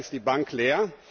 leider ist die Bank leer.